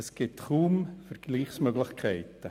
Es gibt kaum Vergleichsmöglichkeiten.